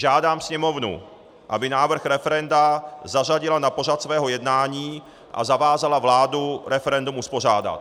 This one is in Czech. Žádám Sněmovnu, aby návrh referenda zařadila na pořad svého jednání a zavázala vládu referendum uspořádat.